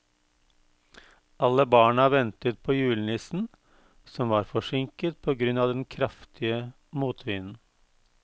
Alle barna ventet på julenissen, som var forsinket på grunn av den kraftige motvinden.